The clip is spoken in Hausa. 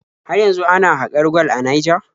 Har yanzu ana haƙar gwal a Naija?